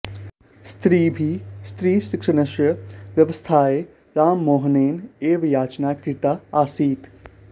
स्त्रीभिः स्त्रीशिक्षणस्य व्यवस्थायै राममोहनेन एव याचना कृता आसीत्